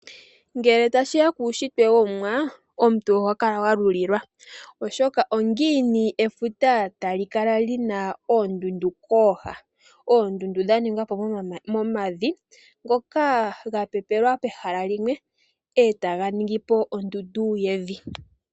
Ngele tashiya kuushitwe wo omuwa. Omuntu oho kala wa lulilwa oshoka ongini efuta tali kala lina oondundu kooha. Oondundu dha ningwa po momavi ngoka ga pepelwa pehala limwe etaga ningi po ondundu yevi.